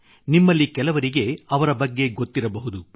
ನಿಮ್ಮಲ್ಲಿ ಕೆಲವರಿಗೆ ಅವರ ಬಗ್ಗೆ ಗೊತ್ತಿರಬಹುದು